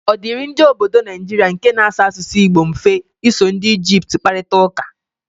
Ọ dịịrị ndị ọbọdọ Naijiria nke na-asụ asụsụ Igbo mfe iso ndị Ijipt kparịta ụka?